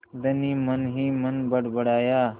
धनी मनहीमन बड़बड़ाया